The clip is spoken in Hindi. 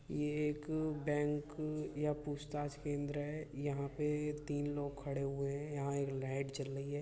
यह एक बैंक या पूछताछ केंद्र है यहां पे तीन लोग खड़े हुए है यहां एक लाईट जल रही है।